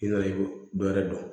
I nana i bɛ dɔ wɛrɛ dɔn